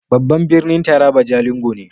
Babban birnin Taraba jalingo ne.